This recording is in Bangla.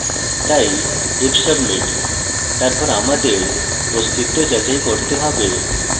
তাই if submit তারপর আমাদের অস্তিত্ব যাচাই করতে হবে